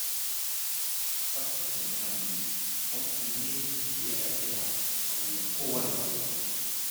Tsaftace muhalli hakki ne da ya rata a wuyan kowa da kowa.